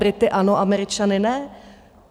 Brity ano, Američany ne?